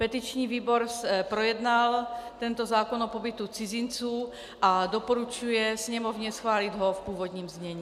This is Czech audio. Petiční výbor projednal tento zákon o pobytu cizinců a doporučuje Sněmovně schválit ho v původním znění.